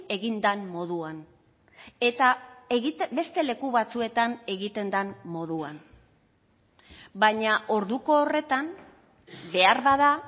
egin den moduan eta beste leku batzuetan egiten den moduan baina orduko horretan beharbada